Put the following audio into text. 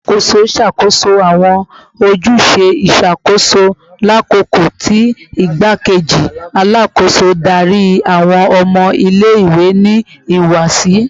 Alakoso ṣakoso awọn ojuse iṣakoso lakoko ti Igbakeji Alakoso dari awọn ọmọ ile-iwe ni ihuwasi